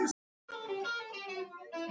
Því er nú ver.